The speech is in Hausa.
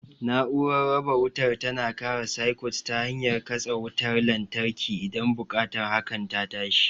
Na'urar raba wutar tana kare sikut ta hanyar katse wutar lantarki idan buƙatar hakan ta tashi.